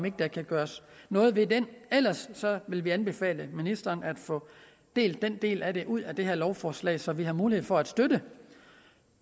ikke kan gøres noget ved den ellers vil vi anbefale ministeren at få skilt den del af det ud af det her lovforslag så vi har mulighed for at støtte